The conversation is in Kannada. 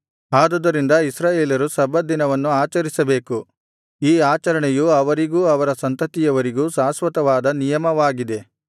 ಆದುದರಿಂದ ಇಸ್ರಾಯೇಲರು ಸಬ್ಬತ್ ದಿನವನ್ನು ಆಚರಿಸಬೇಕು ಈ ಆಚರಣೆಯು ಅವರಿಗೂ ಅವರ ಸಂತತಿಯವರಿಗೂ ಶಾಶ್ವತವಾದ ನಿಯಮವಾಗಿದೆ